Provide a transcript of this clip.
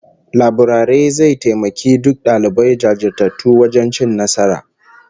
Laburare zai taimaki duk dalibai jajirtattu wajen cin nasara